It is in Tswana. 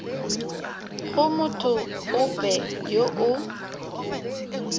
go motho ope yo o